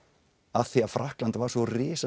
af því að Frakkland var svo risastórt